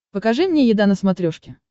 покажи мне еда на смотрешке